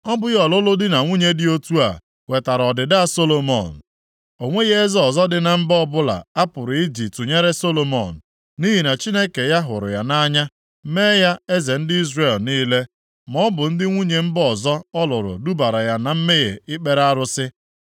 Ọ bụghị ọlụlụ di na nwunye dị otu a wetara ọdịda Solomọn? O nweghị eze ọzọ dị na mba ọbụla a pụrụ iji tụnyere Solomọn, nʼihi na Chineke ya hụrụ ya nʼanya mee ya eze ndị Izrel niile. Ma ọ bụ ndị nwunye mba ọzọ ọ lụrụ dubara ya na mmehie ikpere arụsị.